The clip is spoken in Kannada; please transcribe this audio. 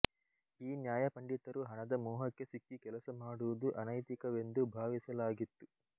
ಈ ನ್ಯಾಯಪಂಡಿತರು ಹಣದ ಮೋಹಕ್ಕೆ ಸಿಕ್ಕಿ ಕೆಲಸ ಮಾಡುವುದು ಅನೈತಿಕವೆಂದು ಭಾವಿಸಲಾಗಿತ್ತು